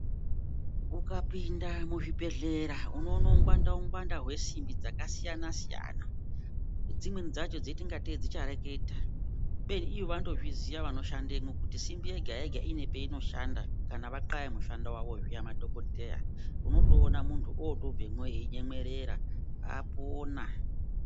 Ukapinda muzvibhehlera unoona ungwanda-ngwanda hwesimbi dzakasiyana-siyana dzimweni dzacho dzinoita ngatei dzichareketa. Kubeni vanotozviziya vanoshandemwo kuti simbi yega-yega ine peinoshanda kana vathaya mishando yavo madhokotera. Unotoona muntu otobvemwo zviya einyemwerera apona.